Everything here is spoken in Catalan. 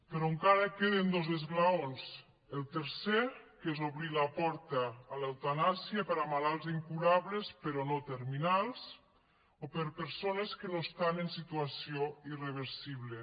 però encara queden dos esglaons el tercer que és obrir la porta a l’eutanàsia per a malalts incurables però no terminals o per a persones que no estan en situació irreversible